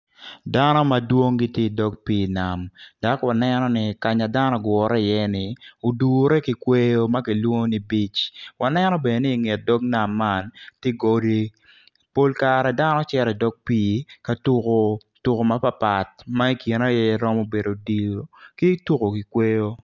Dano madwong gitye odok pii nam dok waneno ni ka ma dano ogure iye ni odure ki kweyo ma kilwongo ni beach waneno bene ni inget dok nam tye godi pol kare dano cito idog piika tukko tuko mapatpat ma ikine aye romo bedo odilo ki tuko ki kweyo.